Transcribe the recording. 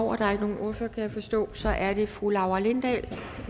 over der er ikke nogen ordfører kan jeg forstå så er det fru laura lindahl